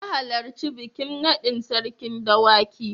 Na halarci bikin naɗin Sarkin Dawaki.